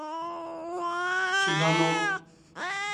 чаданом